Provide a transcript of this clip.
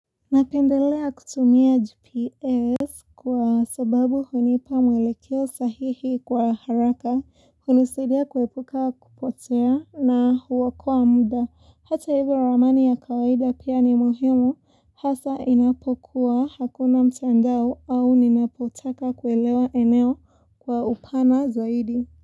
Napendelea kutumia GPS kwa sababu hunipa mwelekeo sahihi kwa haraka, hunusidia kuepuka kupotea na huokoa muda. Hata hivyo ramani ya kawaida pia ni muhimu hasa inapokuwa hakuna mtandao au ninapotaka kuelewa eneo kwa upana zaidi.